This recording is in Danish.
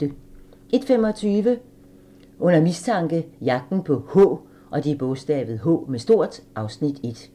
01:25: Under mistanke - Jagten på "H" (Afs. 1)